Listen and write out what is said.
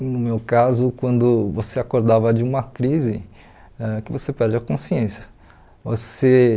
No meu caso, quando você acordava de uma crise, ãh que você perde a consciência. Você